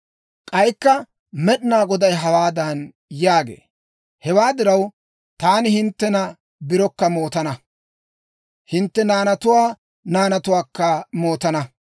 K'aykka Med'inaa Goday hawaadan yaagee; «Hewaa diraw, taani hinttena birokka mootana; hintte naanatuwaa naanatuwaakka mootana.